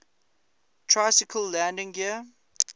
tricycle landing gear